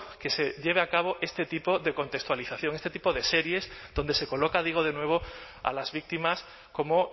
que se lleve a cabo este tipo de contextualización este tipo de series donde se coloca digo de nuevo a las víctimas como